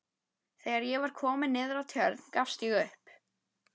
Þegar ég var kominn niður að Tjörn gafst ég upp.